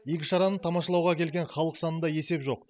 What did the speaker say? игі шараны тамашалауға келген халық санында есеп жоқ